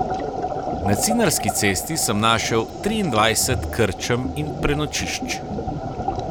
Na Cinarski cesti sem naštel triindvajset krčem in prenočišč.